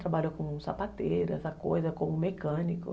Trabalhou como sapateiro, essa coisa, como mecânico.